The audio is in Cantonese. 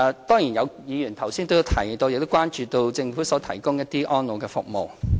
當然，有議員剛才提到亦關注到政府提供的安老服務。